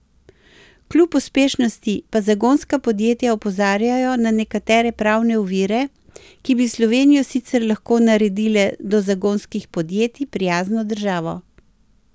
Kljub uspešnosti pa zagonska podjetja opozarjajo na nekatere pravne ovire, ki bi Slovenijo sicer lahko naredile do zagonskih podjetij prijazno državo.